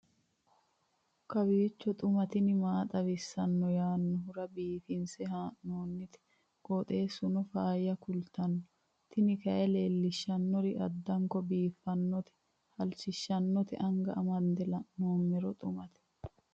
kowiicho xuma mtini maa xawissanno yaannohura biifinse haa'noonniti qooxeessano faayya kultanno tini kayi leellishshannori addanko biiffannote halchishshannote anga amande la'noommero xumate